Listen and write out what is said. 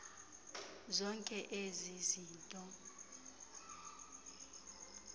zonke ezi zinto